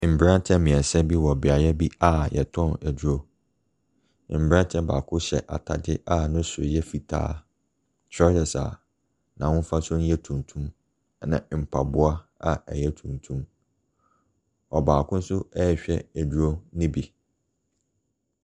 Mmeranteɛ mmeɛnsa bi wɔ beaeɛ bi a wɔtɔ aduro. Aberanteɛ baako hyɛ atadeɛ a ne soro yɛ fitaa, trousers a n'ahofasuo no yɛ tuntum, ɛna mpaboa a ɛyɛ tuntum. Ɔbaako nso rehwɛ aduro no bi.